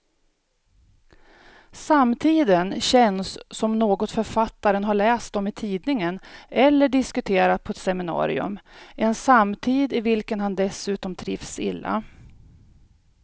Samtiden känns som något författaren har läst om i tidningen eller diskuterat på ett seminarium, en samtid i vilken han dessutom trivs illa.